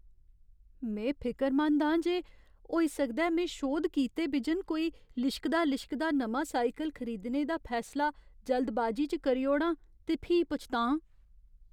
मैं फिकरमंद आं जे होई सकदा ऐ में शोध कीते बिजन कोई लिश्कदा लिश्कदा नमां साइकल खरीदने दा फैसला जल्दबाजी च करी ओड़ां ते फ्ही पछतांऽ।